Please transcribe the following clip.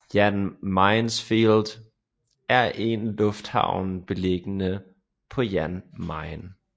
Jan Mayensfield er en lufthavn beliggende på Jan Mayen